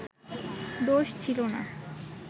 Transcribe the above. দোষ ছিলো না